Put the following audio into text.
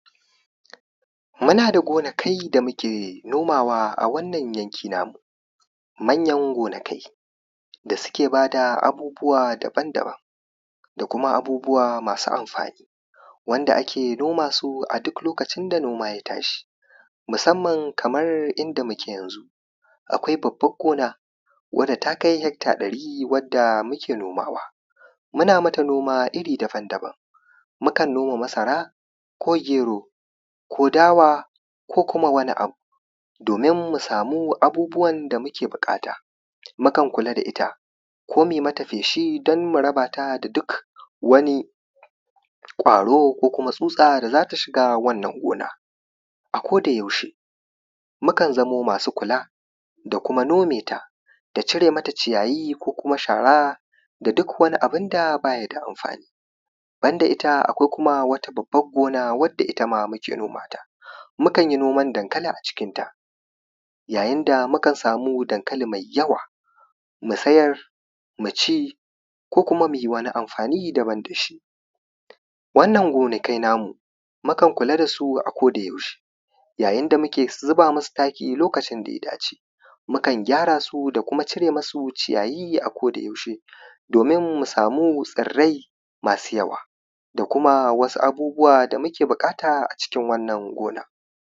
muna da gonakai da muke nomawa a wannan yankin namu manyan gonakai da suke ba da abubuwa daban daban da kuma abubuwa masu amfani wanda ake noma su a duk lokacin da noma ya tashi musamman kaman inda muke yanzu akwai babban gona wanda ta kai hekta ɗari wanda muke noma wa muna mata noma iri daban daban mukan noma masara ko gero dawa ko kuma wani abu domin mu samu abubuwan da muke buƙata mukan kula da ita ko mu yi mata feshi don murabata da ƙwaro ko kuma tsutsa da za ta shiga wannan gona a koda yaushe mukan za mo masu kula da kuma nome ta da cire mata ciyayi ko kuma shara da duk wani abunda ba ya da amfani ban da ita akwai wata babban gona wanda ita ma muke noma ta mukan yi noman dankali a cikin ta yayin da mukan samu dankali mai yawa mu sayar mu ci ko kuma mu yi amfani ko kuma mu amfani daban da shi wannan gonakai namu mukan kula da shi a koda yaushe yayin da muke zuba musu taki lokacin da ya dace mukan gyara su da kuma cire musu ciyayi a koda yaushe domin mu samu tsirrai masu yawa da kuma wasu abubuwa da muke buƙata a cikin wannan gonan